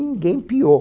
Ninguém piou.